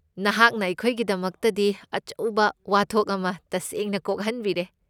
ꯅꯍꯥꯛꯅ ꯑꯩꯈꯣꯏꯒꯤꯗꯃꯛꯇꯗꯤ ꯑꯆꯧꯕ ꯋꯥꯊꯣꯛ ꯑꯃ ꯇꯁꯦꯡꯅ ꯀꯣꯛꯍꯟꯕꯤꯔꯦ꯫